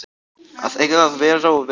Að eiga að vera og vera